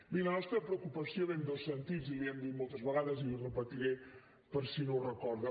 miri la nostra preocupació ve en dos sentits i li ho hem dit moltes vegades i ho repetiré per si no ho recorda